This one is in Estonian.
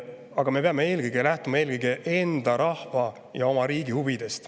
Aga me peame eelkõige lähtuma enda rahva ja oma riigi huvidest.